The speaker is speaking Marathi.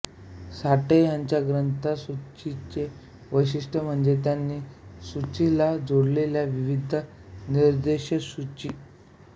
साठे ह्यांच्या ग्रंथसूचीचे वैशिष्ट्य म्हणजे त्यांनी सूचीला जोडलेल्या विविध निर्देशसूची